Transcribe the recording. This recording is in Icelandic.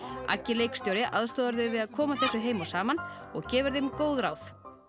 leikstjóri aðstoðar þau við að koma þessu heim og saman og gefur þeim góð ráð